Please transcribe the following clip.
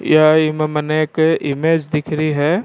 यह ईम मने एक इमेज दिख रही है।